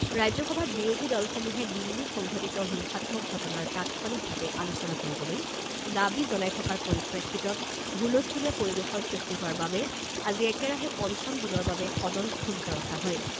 ৰাজ্যসভাত বিৰোধীদলসমূহে দিল্লীত সংঘটিত হিংসাত্মক ঘটনাৰ তাৎক্ষণিকভাৱে আলোচনা কৰিবলৈ দাবী জনাই থকাৰ পৰিপ্ৰেক্ষিতত হুলস্থলীয়া পৰিবেশৰ সৃষ্টি হোৱাৰ বাবে আজি একেৰাহে পঞ্চম দিনৰ বাবে সদন স্থগিত ৰখা হয়।